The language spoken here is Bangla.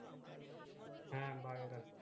হ্যাঁ ভালো থাক